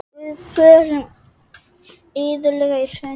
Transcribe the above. Við fórum iðulega í sund.